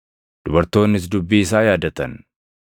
Dubartoonnis dubbii isaa yaadatan.